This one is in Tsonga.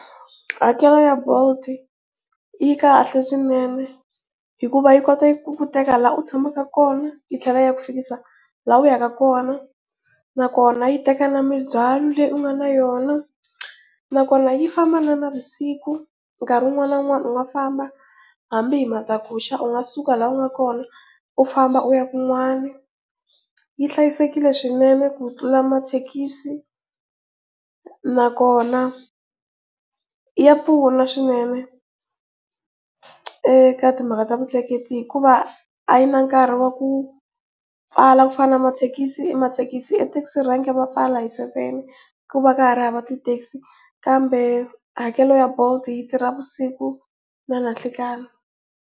Hakelo ya bolt yi kahle swinene hikuva yi kota ku ku teka laha u tshamaka kona yi tlhela yi ya ku fikisa laha u yaka kona nakona yi teka na mindzwalo leyi u nga na yona nakona yi famba na navusiku nkarhi wun'wana na wun'wana u nga famba hambi hi matakuxa u nga suka laha u nga kona u famba u ya kun'wana, yi hlayisekile swinene ku tlula mathekisi nakona ya pfuna swinene eka timhaka ta vutleketli hikuva a yi na nkarhi wa ku pfala ku fana na mathekisi, mathekisi e-taxi rank va pfala hi seven, ku va ka ha ri hava ti-taxi kambe hakelo ya bolt yi tirha vusiku na nanhlikani.